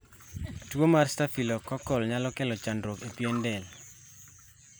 Tuwo mar Staphylococcal nyalo kelo chandruok e pien del